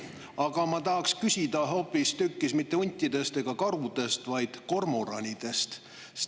Aga ma ei taha küsida mitte huntide ega karude, vaid hoopistükkis kormoranide kohta.